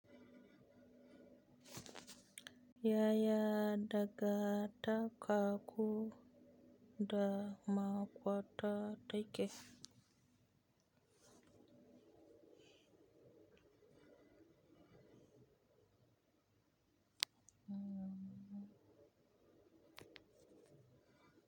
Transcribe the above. Yaya danganta karku da maƙwafta take.